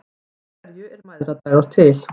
Af hverju er mæðradagur til?